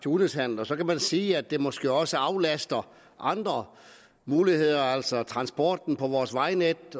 udenrigshandel så kan man sige at det måske også aflaster andre muligheder altså transporten på vores vejnet